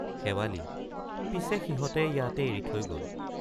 শেৱালি—পিছে সিহঁতে ইয়াতে এৰি থৈ গল।